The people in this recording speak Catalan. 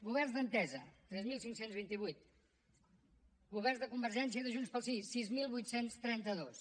governs d’entesa tres mil cinc cents i vint vuit governs de convergència de junts pel sí sis mil vuit cents i trenta dos